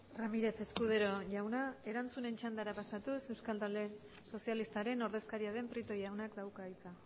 ramírez escudero jauna erantzunen txandara pasatuz euskal talde sozialistaren ordezkaria den prieto jaunak dauka hitza